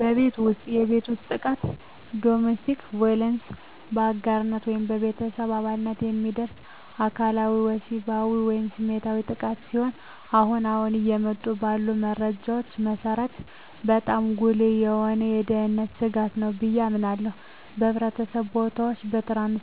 በቤት ውስጥ የቤት ውስጥ ጥቃት (Domestic Violence): በአጋር ወይም በቤተሰብ አባላት የሚደርስ አካላዊ፣ ወሲባዊ ወይም ስሜታዊ ጥቃት ሲሆን አሁን አሁን እየወጡ ባሉ መረጃዎች መሰረት በጣም ጉልህ የሆነ የደህንነት ስጋት ነው ብየ አምናለሁ። በሕዝብ ቦታዎች እና